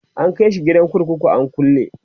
an kaishi gidan kurkuku an kulle